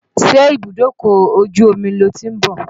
Ṣe ibùdókọ̀ ojú omi lo ti ń bọ̀?